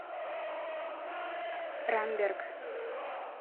рамберг